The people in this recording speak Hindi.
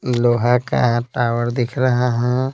लोहा का टावर दिख रहा है।